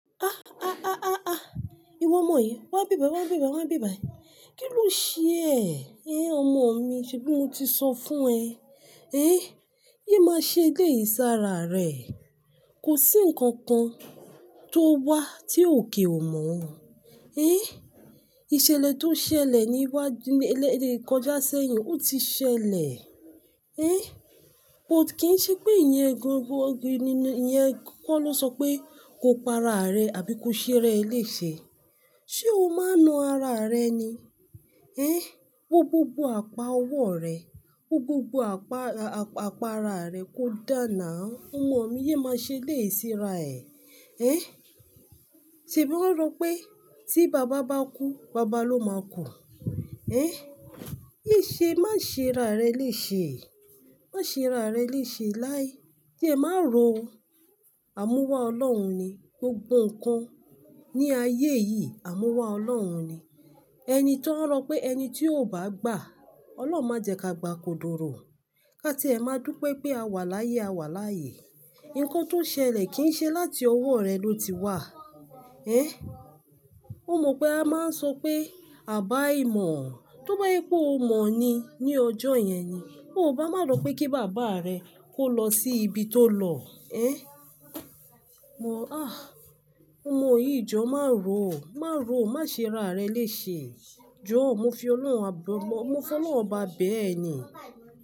Ah, ah, ah, ah, ah, ìwọ ọmọ yìí, wá bíbà, wá bíbà, wá bíbà yìí. Kí ló ṣe ẹ? Eh, ọmọ mi, ṣebí mo ti sọ fún ẹ? Eh, yé má ṣe béyẹn sara rẹ. Kò sí nǹkan kan tó wá tí òkè ò mọ. Eh, ìṣẹ̀lẹ̀ tó ṣẹlẹ̀ ní iwájú, ní ẹlẹ́ẹ̀dẹ́ ìkọjá sẹ́yìn, ó ti ṣẹlẹ̀. Eh, bọ̀t kín ṣe pé ìyẹn gun, gun nínú, ìyẹn kọ́ ló sọ pé kò para rẹ àbí kò ṣé rẹ lè ṣe. Ṣé o máa nu ara rẹ ni? Eh, wó gbogbo apá ọwọ́ rẹ, wó gbogbo apá, a-a-apá ara rẹ kó dá náu. Ọmọ mi, yé má ṣe lé ìsira ẹ̀. Eh, ṣebí wọn rọ pé tí bàbá bá kú, bàbá ló máa kú. Eh, yé ṣe, má ṣe ra rẹ lè ṣe. Má ṣe ra rẹ lè ṣe láé. Kí ẹ má ro o. Àmúwá Ọlọ́run ni gbogbo nǹkan ní ayé yìí, àmúwá Ọlọ́run ni. Ẹni tí wọn rọ pé ẹni tí ó bá gbà, Ọlọ́run máa jẹ ká gbà kò dúró. Ká tí ẹ máa dùn pé pé a wà láyé, a wà láyè. Nǹkan tó ṣẹlẹ̀ kì í ṣe láti ọwọ́ rẹ ló ti wá. Eh, ó mọ pé a máa ń sọ pé àbá-ìmọ̀. Tóbá jẹ̀ pé o mọ̀ ni ní ọjọ́ yẹn ni, ó bá máa sọ pé kí bàbá rẹ kó lọ sí ibi tó lọ. Eh, mọ̀, ah, ọmọ yìí jọ, má ro o, má ro o, má ṣe ra rẹ lè ṣe. Jọ, mo fi Ọlọ́run, mo fi Ọlọ́run ọbá bẹ ẹ ni.